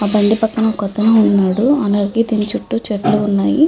ఆ బండి పక్కన ఒకతను ఉన్నాడు. అలాగే దీని చుట్టూ చెట్లు ఉన్నాయి.